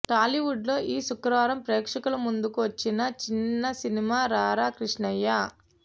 టాలీవుడ్లో ఈ శుక్రవారం ప్రేక్షకుల ముందుకు వచ్చిన చిన్నసినిమా రారా కృష్ణయ్య